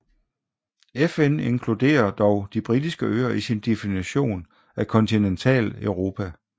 FN inkluderer dog De Britiske Øer i sin definition af Kontinentaleuropa